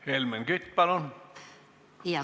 Helmen Kütt, palun!